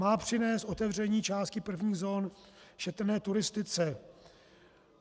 Má přinést otevření části prvních zón šetrné turistice.